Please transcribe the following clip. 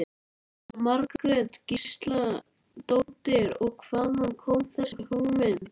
Jóhanna Margrét Gísladóttir: Og hvaðan kom þessi hugmynd?